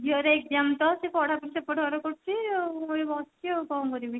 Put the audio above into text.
ଝିଅର exam ତ ସେ ପଢା ପଢି ସେପଟ ଘରେ କରୁଛି ଆଉ ମୁଁ ଏଠି ବସିଛି ଆଉ କଣ କରିବି